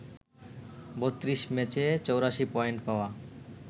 ৩২ ম্যাচে ৮৪ পয়েন্ট পাওয়া